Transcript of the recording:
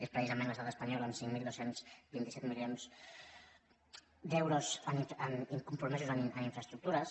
és precisament l’estat espanyol amb cinc mil dos cents i vint set milions d’euros incompromesos en infraestructures